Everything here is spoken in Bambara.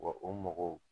Wa o mɔgɔw